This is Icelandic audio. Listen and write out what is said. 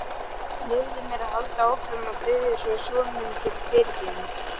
Leyfðu mér að halda áfram að biðja svo að sonur minn geti fyrirgefið mér.